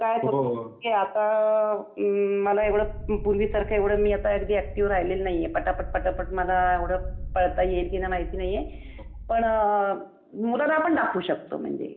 की आता, अम मला एवढं पूर्वीसारखं एवढं मी आता अगदी अॅक्टीव्ह राहिलेली नाहीये, पटापट पटापट मला एव्हढं पळता येईल की नाही माहिती नाहीये. पण मुलांना आपण दाखवू शकतो. म्हणजे प्रॅक्टिकली.